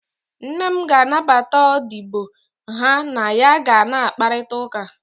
Nne m ga-anabata odibo ha na ya ga na-akparịta ụka